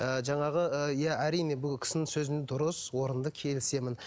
ы жаңағы ы иә әрине бұл кісінің сөзі дұрыс орынды келісемін